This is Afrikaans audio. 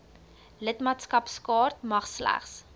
lidmaatskapkaart mag slegs